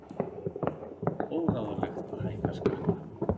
Óráðlegt að hækka skatta